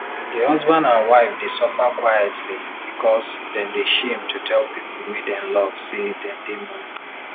di husband and wife dey suffer quielty because dem dey shame to tell people wey dem love say dem dey money